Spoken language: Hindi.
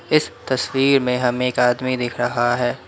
इस तस्वीर में हमें एक आदमी दिख रहा है।